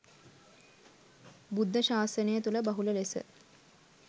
බුද්ධ ශාසනය තුළ බහුල ලෙස